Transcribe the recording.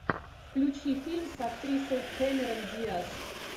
включи фильм с актрисой кэмерон диас